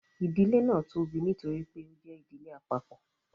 idile náa tóbi nítorí pé o jẹ ìdílé àpapọ